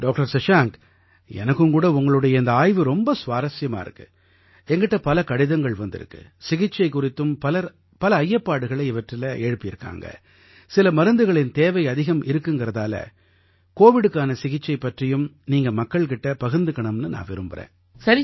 doctor Shashank எனக்கும் கூட உங்களுடைய இந்த ஆய்வு ரொம்ப சுவாரசியமா இருக்கு எங்கிட்ட பல கடிதங்கள் வந்திருக்கு சிகிச்சை குறித்தும் பலர் பல ஐயப்பாடுகளை இவற்றில எழுப்பியிருக்காங்க சில மருந்துகளின் தேவை அதிகம் இருக்குங்கறதால கோவிடுக்கான சிகிச்சை பற்றியும் நீங்க மக்கள் கிட்ட பகிர்ந்துக்கணும்னு நான் விரும்புறேன்